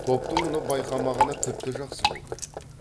топтың мұны байқамағаны тіпті жақсы болды